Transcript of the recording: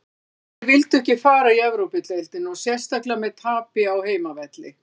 Strákarnir vildu ekki fara í Evrópudeildina og sérstaklega með tapi á heimavelli.